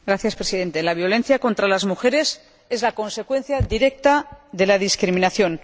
Señor Presidente, la violencia contra las mujeres es la consecuencia directa de la discriminación